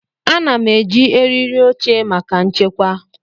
Ana m eji eriri oche maka nchekwa.